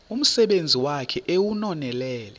umsebenzi wakhe ewunonelele